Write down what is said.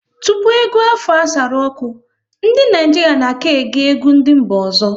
Tupu egwu Afro asaru ọkụ, ndị Naịjirịa na ka-ege egwu ndị mba ọzọ